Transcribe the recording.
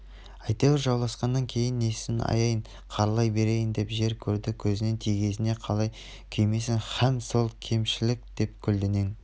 әйтеуір жауласқаннан кейін несін аяйын қаралай берейін деп жер-көрді көзінен тізгеніне қалай күймессің һәм сол кемшілік деп көлденең